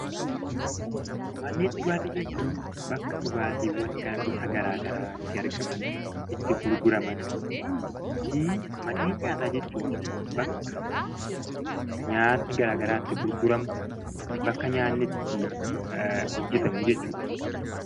Manneen dhugaatii jechuun bakka dhugaatiiwwan gosa garagaraa itti argaman ,itti gurguraman, fi manneen nyaataa jechuun bakka nyaati garaagaraa itti gurguramu, bakka nyaanni itti hojjetamu, jechuu dha.